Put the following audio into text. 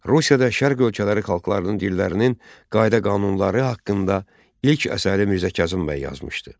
Rusiyada Şərq ölkələri xalqlarının dillərinin qayda-qanunları haqqında ilk əsəri Mirzə Kazım bəy yazmışdı.